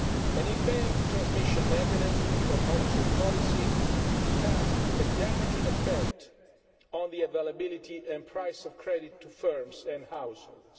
An impaired transmission mechanism for monetary policy has a damaging effect on the availability and price of credit to firms and households.